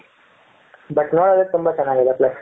but ನೋಡದಕೆ ತುಂಬಾ ಚೆನ್ನಾಗಿ ಇದೆ place .